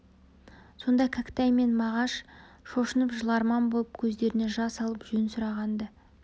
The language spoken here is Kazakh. сонда кәкітай мен мағаш шошынып жыларман боп көздеріне жас алып жөн сұраған-ды